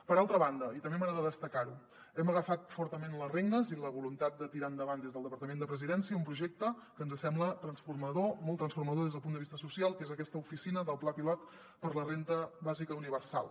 per altra banda i també m’agrada destacar ho hem agafat fortament les regnes i la voluntat de tirar endavant des del departament de la presidència un projecte que ens sembla transformador molt transformador des del punt de vista social que és aquesta oficina del pla pilot per a la renda bàsica universal